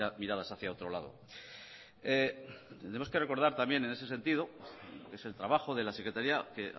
miradas hacia otro lado tenemos que recordar también en ese sentido que es el trabajo de la secretaría que